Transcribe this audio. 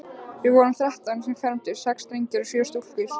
Við vorum þrettán sem fermdumst, sex drengir og sjö stúlkur.